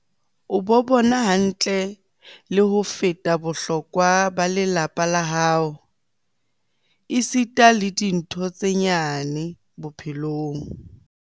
"O bo bona hantle le ho feta bohlokwa ba lelapa la hao esita le dintho tse nyane bo-phelong."